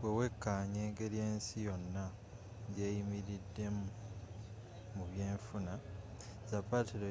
bwewekaanya engeri ensi yonna gyeyimiriddemu mu byenfuna zapatero